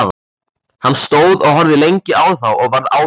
Hann stóð og horfði lengi á þá og var ánægður.